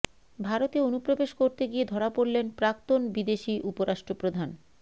ভারতে অনুপ্রবেশ করতে গিয়ে ধরা পড়লেন প্রাক্তন বিদেশি উপরাষ্ট্রপ্রধান